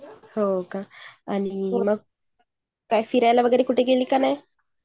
हो का आणि फिरायला वगैरे गेली काय नाही.